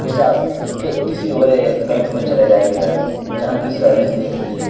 जैसा अब किसी और ही बैंक में चले जाइए जहाँ की सर्विस देखिए --